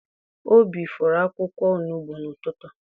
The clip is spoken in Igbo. Obi fọrọ akwụkwọ onugbu n'ụtụtụ.